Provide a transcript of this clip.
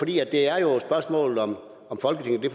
det er jo et spørgsmål om folketinget